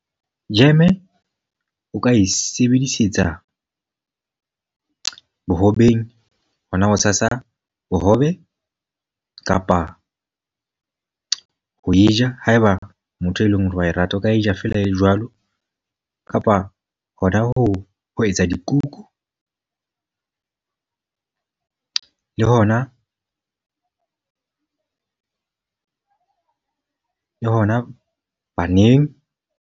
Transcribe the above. Jeme o ka e sebedisetsa bohobeng, ho na ho tshasa bohobe. Kapa ho e ja, haeba o motho e leng hore wa e rata. O ka e ja feela e jwalo kapa hona ho ho etsa dikuku. Le hona, le hona baneng.